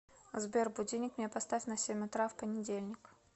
сбер будильник мне поставь на семь утра в понедельник